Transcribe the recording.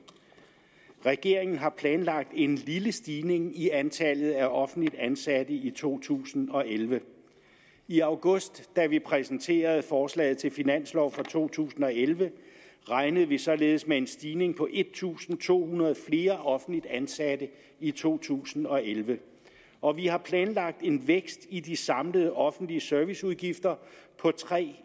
regeringen har planlagt en lille stigning i antallet af offentligt ansatte i to tusind og elleve i august da vi præsenterede forslaget til finanslov for to tusind og elleve regnede vi således med en stigning på en tusind to hundrede offentligt ansatte i to tusind og elleve og vi har planlagt en vækst i de samlede offentlige serviceudgifter på tre